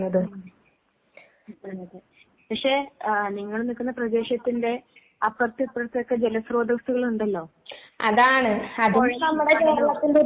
ഉം. ഇപ്പഴും അതെ. പക്ഷെ ആഹ് നിങ്ങള് നിക്കുന്ന പ്രദേശത്തിന്റെ അപ്പറത്തും ഇപ്പറത്തുവൊക്കെ ജല സ്രോതസ്സ്കളുണ്ടല്ലോ. പൊഴയും വയലും ഒക്കെ.